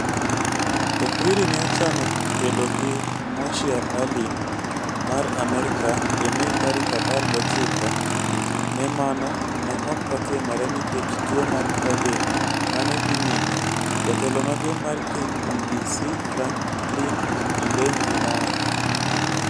"Okwiri ne ochano kedo gi Moshea Aleem mar Amerka e Mei tarik apar gochiko, to mano ne ok otimore nikech tuo mar Covid ma ne dhi nyime, " Jatelo maduong' mar KPBC, Frankline Imbenzi nowacho.